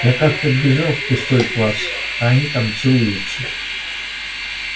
я как-то вбежала в пустой класс а они там целуются